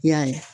I y'a ye